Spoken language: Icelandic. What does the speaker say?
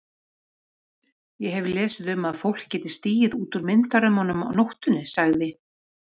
Ég hef lesið um að fólk geti stigið út úr myndarömmunum á nóttunni sagði